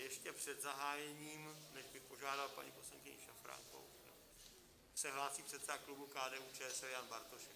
Ještě před zahájením, než bych požádal paní poslankyni Šafránkovou, se hlásí předseda klubu KDU-ČSL Jan Bartošek.